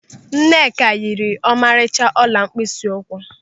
Nneka yiri ọmarịcha ọla mkpịsị ụkwụ.